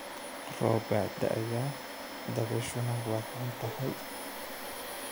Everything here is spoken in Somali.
Roob baa da'aya, dabayshuna way xun tahay.